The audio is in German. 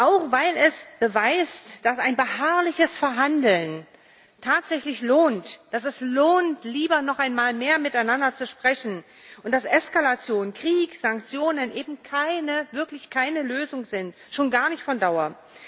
Auch weil es beweist, dass ein beharrliches Verhandeln tatsächlich lohnt, dass es lohnt, lieber noch einmal mehr miteinander zu sprechen, und dass Eskalation, Krieg, Sanktionen eben wirklich keine Lösung sind schon gar nicht von Dauer.